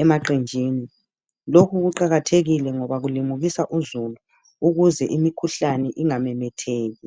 emaqenjini lokhu kuqakathekile ngoba kulimukisa uzulu ukuze imikhuhlane ingamemetheki.